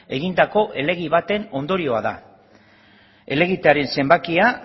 egindako helegite baten ondorioa da helegitearen zenbakia